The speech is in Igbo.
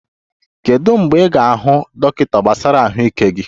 Kedu mgbe ị ga-ahụ dọkịta gbasara ahụike gị?